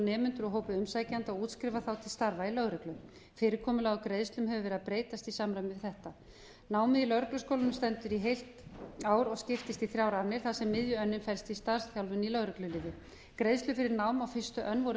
nemendur úr hópi umsækjenda og útskrifar þá til starfa í lögreglu fyrirkomulag á greiðslum hefur verið að breytast í samræmi við þetta námið í lögregluskólanum stendur í heilt ár og skiptist í þrjár annir þar sem miðönnin felst í starfsþjálfun í lögregluliði greiðslur fyrir nám á fyrstu önn voru